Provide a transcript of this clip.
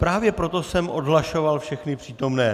Právě proto jsem odhlašoval všechny přítomné.